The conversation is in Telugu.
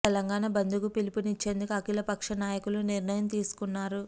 తెలంగాణ బంద్ కు పిలుపునిచ్చేందుకు అఖిల పక్ష నాయకులు నిర్ణయం తీసుకున్నారు